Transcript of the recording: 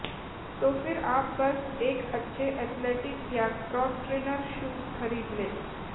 तो फिर आप बस एक अच्छे एथेलेटिक या क्रॉस ट्रेनर शूज खरीद लें